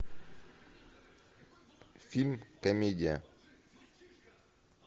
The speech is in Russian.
фильм комедия